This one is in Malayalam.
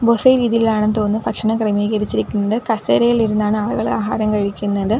ബൊഫെ രീതിയിലാണെന്നു തോന്നുന്നു ഭക്ഷണം ക്രമീകരിച്ചിരിക്കുന്നത് കസേരയിലിരുന്നാണ് ആളുകൾ ആഹാരം കഴിക്കുന്നത്.